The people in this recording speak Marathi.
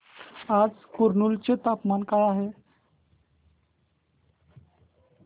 आज कुरनूल चे तापमान काय आहे